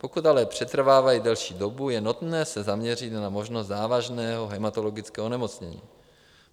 Pokud ale přetrvávají delší dobu, je nutné se zaměřit na možnost závažného hematologického onemocnění.